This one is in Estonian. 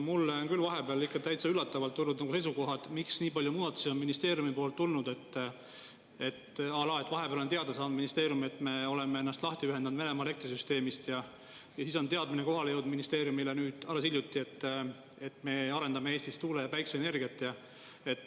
Mulle on küll vahepeal täitsa üllatavalt tulnud seisukohad, miks nii palju muudatusi on ministeeriumi poolt tulnud, à la, et vahepeal on teada saanud ministeerium, et me oleme ennast lahti ühendatud Venemaa elektrisüsteemist, ja siis on teadmine kohale jõudnud ministeeriumile nüüd alles hiljuti, et me arendame Eestis tuule- ja päikeseenergiat.